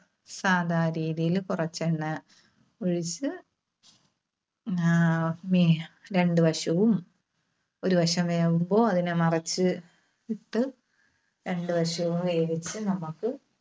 സാദാ രീതിയില് കുറച്ചെണ്ണ ഒഴിച്ച് ആഹ് മ്മേ രണ്ട് വശവും. ഒരു വശം വേകുമ്പോൾ അതിനെ മറിച്ച് ഇട്ട് രണ്ടുവശവും വേവിച്ച് നമുക്ക്